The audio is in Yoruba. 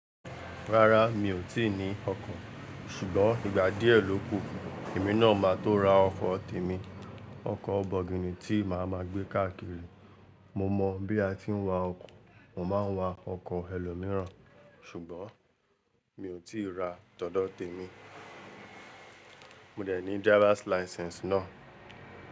Rárá mi ò tí ì ní ọkọ̀, ṣùgbọ́n ìgbà díẹ̀ ló kù, èmi náà máa tó ra ọkọ̀ tèmi. Ọkọ̀ bọ̀gìnì tí màá ma gbé káàkiri. Mo mọ̀ bí a tí ń wa ọkọ̀, mo máa ń wa ọkọ̀ ẹlòmíràn, ṣùgbọ́n mi ò tí ì ra tọ̀dọ́ tèmi. Mo dẹ̀ ní driver's license náà.